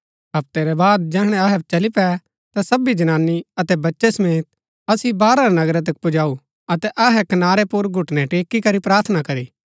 हप्तै रै बाद जैहणै अहै चली पै ता सबी जनानी अतै बच्चै समेत असिओ नगरा रै बाहरा तक पुजाऊ अतै अहै कनारै पुर घुटनै टेकीकरी प्रार्थना करी